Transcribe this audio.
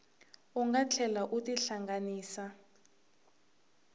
u nga tlhela u tihlanganisa